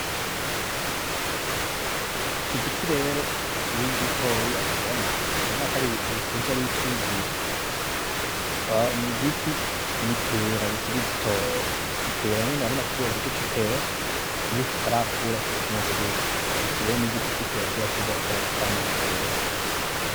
Iki giti rero kikiri gitoya ubona urabona ko ari ibintu bikuze ari Ibiti bibiri, n'igiti n'ipera rikiri ritoya ipera nyene urabona kirya giti c'ipera iyo kitarakura kiba kimeze gucya iki rero n'igiti c'ipera kiba kizokura kikama Amapera.